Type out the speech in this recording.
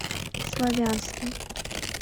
славянский